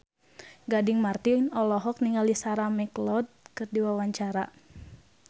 Gading Marten olohok ningali Sarah McLeod keur diwawancara